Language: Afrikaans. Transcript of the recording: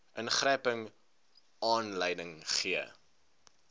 ingryping aanleiding gee